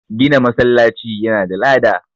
Gina masallaci yana da lada